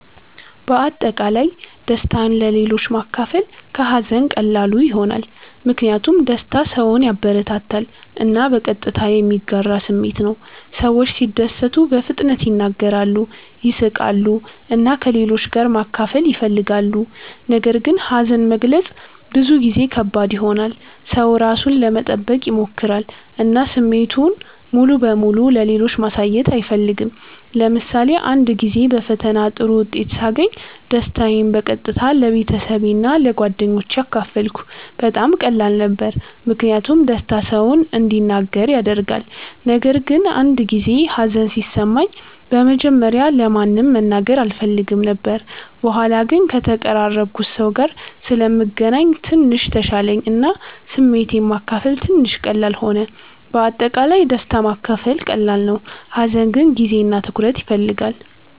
በአጠቃላይ ደስታን ለሌሎች ማካፈል ከሀዘን ቀላሉ ይሆናል። ምክንያቱም ደስታ ሰውን ያበረታታል እና በቀጥታ የሚጋራ ስሜት ነው። ሰዎች ሲደሰቱ በፍጥነት ይናገራሉ፣ ይስቃሉ እና ከሌሎች ጋር ማካፈል ይፈልጋሉ። ነገር ግን ሀዘን መግለጽ ብዙ ጊዜ ከባድ ይሆናል። ሰው ራሱን ለመጠበቅ ይሞክራል እና ስሜቱን ሙሉ በሙሉ ለሌሎች ማሳየት አይፈልግም። ለምሳሌ አንድ ጊዜ በፈተና ጥሩ ውጤት ሳገኝ ደስታዬን በቀጥታ ለቤተሰቤ እና ለጓደኞቼ አካፈልኩ። በጣም ቀላል ነበር ምክንያቱም ደስታ ሰውን እንዲናገር ያደርጋል። ነገር ግን አንድ ጊዜ ሀዘን ሲሰማኝ በመጀመሪያ ለማንም መናገር አልፈልግም ነበር። በኋላ ግን ከተቀራረብኩት ሰው ጋር ስለምገናኝ ትንሽ ተሻለኝ እና ስሜቴን ማካፈል ትንሽ ቀላል ሆነ። በአጠቃላይ ደስታ ማካፈል ቀላል ነው፣ ሀዘን ግን ጊዜ እና ትኩረት ይፈልጋል።